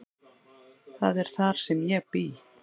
Það er þar sem ég bý.